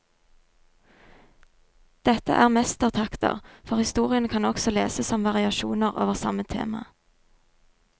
Dette er mestertakter, for historiene kan også leses som variasjoner over samme tema.